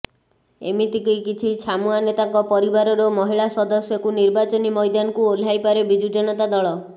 ଏମିତି କି କିଛି ଛାମୁଆ ନେତାଙ୍କ ପରିବାରର ମହିଳା ସଦସ୍ୟକୁ ନିର୍ବାଚନୀ ମୈଦାନକୁ ଓହ୍ଲାଇପାରେ ବିଜୁ ଜନତା ଦଳ